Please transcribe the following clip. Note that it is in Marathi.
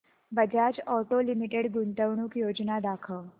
बजाज ऑटो लिमिटेड गुंतवणूक योजना दाखव